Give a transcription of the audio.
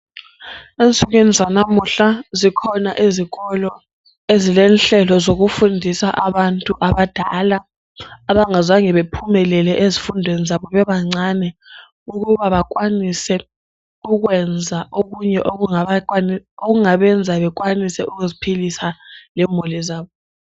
Ensukwini zanamuhla zikhona izikolo ezilenhlelo zokufundisa abantu abadala abangazange bephumelele ezifundweni zabo bebancane ukuba bakwanise ukwenza okunye okungabenza bekwanise ukuziphilisa lemuli zabo.